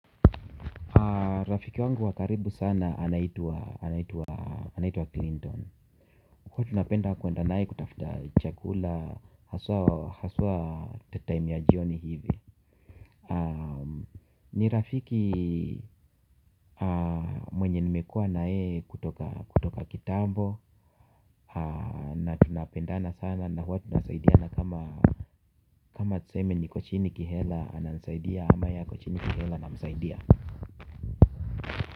Rafiki wangu wa karibu sana anaitwa anaitwa Clinton. Huwa tunapenda kwenda naye kutafuta chakula hasua time ya jioni hivi. Ni rafiki mwenye nimekua na yeye kutoka kitambo na tunapendana sana na huwa tunasaidiana kama kama tuseme niko chini kihela ananisaidia kama ako chini kihela namsaidia.